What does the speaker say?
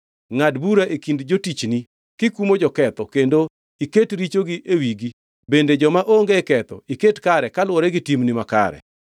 to iwinji gi e polo kendo itim kaka owinjore. Ngʼad bura e kind jotichni, kikumo joketho kendo iket richogi e wigi bende joma onge ketho iket kare kaluwore gi timgi makare.